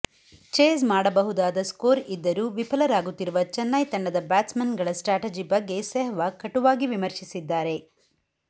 chase ಮಾಡಬಹುದಾದ score ಇದ್ದರೂ ವಿಫಲರಾಗುತ್ತಿರುವ ಚೆನ್ನೈ ತಂಡದ ಬ್ಯಾಟ್ಸ್ ಮನ್ ಗಳ ಸ್ಟ್ರಾಟಜಿ ಬಗ್ಗೆ ಸೆಹ್ವಾಗ್ ಕಟುವಾಗಿ ವಿಮರ್ಶಿಸಿದ್ದಾರೆ